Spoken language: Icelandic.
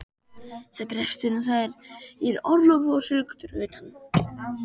Presturinn þar er í orlofi og sigldur utan.